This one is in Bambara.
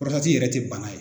yɛrɛ ti bala ye.